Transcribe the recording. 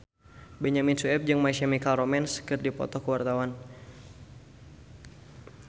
Benyamin Sueb jeung My Chemical Romance keur dipoto ku wartawan